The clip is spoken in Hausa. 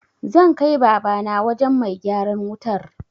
Zan kai Babana wajen mai gyaran wutar.